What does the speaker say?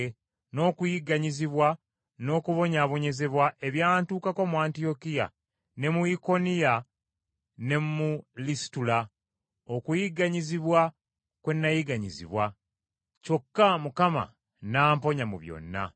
n’okuyigganyizibwa n’okubonyaabonyezebwa ebyantukako mu Antiyokiya, ne mu Ikoniya ne mu Lisitula, okuyigganyizibwa kwe nayigganyizibwa, kyokka Mukama n’amponya mu byonna.